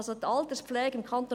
die Alterspflege im Kanton